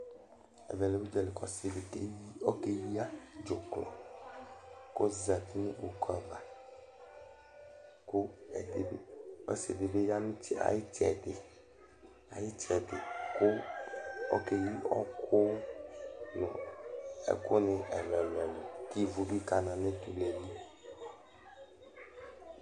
Ɛvɛlɛ udzali kʋ ɔsiɖi keya dzuklɔ kʋ ɔzɛti ŋu kpoku ava Ɔsiɖi bi ɖu ayʋ itsɛɖi kʋ ɔkeyi ɔku, ɛku ni ɛlu ɛlu kʋ ívu bi kana ŋu etule li